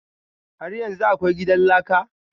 Har yanzu akwai gidan laka?